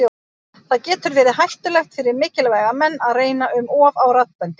Það getur verið hættulegt fyrir mikilvæga menn að reyna um of á raddböndin.